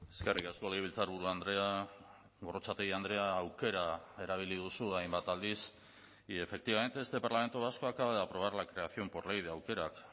eskerrik asko legebiltzarburu andrea gorrotxategi andrea aukera erabili duzu hainbat aldiz y efectivamente este parlamento vasco acaba de aprobar la creación por ley de aukerak